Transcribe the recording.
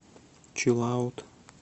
чилаут